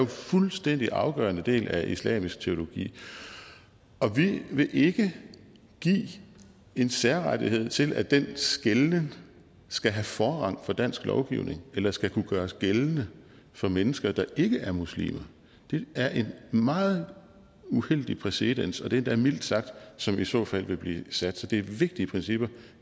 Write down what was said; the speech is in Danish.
fuldstændig afgørende del af islamisk teologi vi vil ikke give en særrettighed til at den skelnen skal have forrang for dansk lovgivning eller skal kunne gøres gældende for mennesker der ikke er muslimer det er en meget uheldig præcedens og det er endda mildt sagt som i så fald vil blive sat så det er vigtige principper